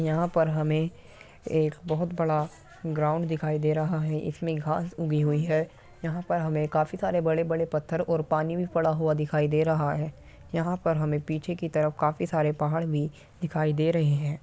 यहाँ पर हमें एक बहुत बड़ा ग्राउंड दिखाई दे रहा है| इसमें घास उगी हुए हैं। यहाँ पर हमें काफी सारा बड़े बड़े पत्थर और पानी भी पड़ा हुए दिखाई दे रहा हैं। यहाँ पर हमें पीछे की तरफ काफी सारे पहाड़ दिखाई दे रहे हैं।